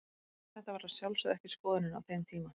Þetta var að sjálfsögðu ekki skoðunin á þeim tíma.